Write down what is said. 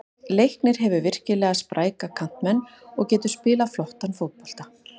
Leiknir hefur virkilega spræka kantmenn og getur spilað flottan fótbolta.